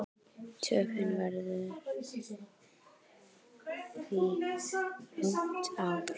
Töfin verður því rúmt ár.